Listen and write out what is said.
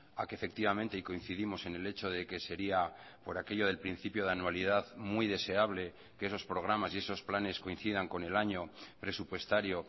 a que efectivamente y coincidimos en el hecho de que sería por aquello del principio de anualidad muy deseable que esos programas y esos planes coincidancon el año presupuestario